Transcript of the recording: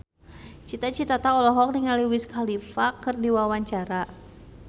Cita Citata olohok ningali Wiz Khalifa keur diwawancara